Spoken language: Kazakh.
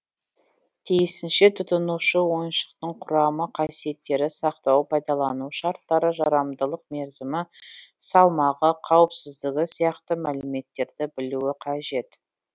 тиісінше тұтынушы ойыншықтың құрамы қасиеттері сақтау пайдалану шарттары жарамдылық мерзімі салмағы қауіпсіздігі сияқты мәліметтерді білуі қажет